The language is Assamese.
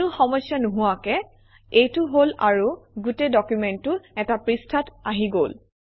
কোনো সমস্যা নোহোৱাকৈ এইটো হল আৰু গোটেই ডকুমেণ্টটো এটা পৃষ্ঠাত আহি গল